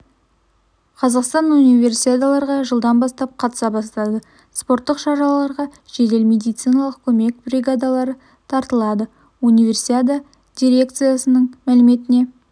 қазақстан унивесиадаларға жылдан бастап қатыса бастады спорттық шараға жедел медициналық көмек бригадалары тартылады универсиада дирекцияның мәліметіне